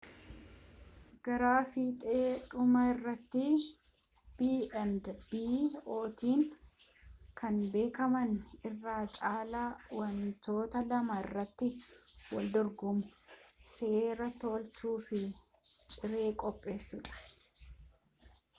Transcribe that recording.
gra fiixee dhumaa irratti b&b’ootaan kan beekamu irra caala wantoota lama irratti waldorgomu: siree tolchuu fi ciree qopheessuudha